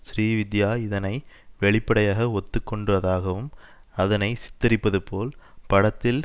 ஸ்ரீவித்யா இதனை வெளிப்படையாக ஒத்து கொண்டதாகவும் அதனை சித்தரிப்பதுபோல் படத்தில்